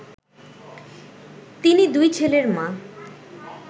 তিনি দুই ছেলের মা